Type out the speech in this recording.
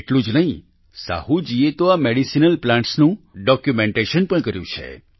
એટલું જ નહીં સાહૂજીએ તો આ મેડિસીનલ પ્લાન્ટ્સનું ડોક્યુમેન્ટેશન પણ કર્યું છે